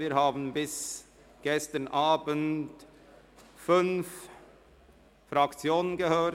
Wir haben bis gestern Abend fünf Fraktionen zu diesem Geschäft angehört.